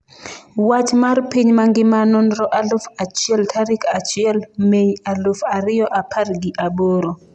Wach mar piny mangima Nonro aluf achiel tarik achiel mei aluf ariyo apar gi aboro